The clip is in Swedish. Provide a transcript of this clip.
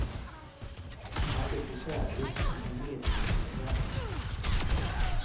Han söker kärlek, en medmänniskas värme.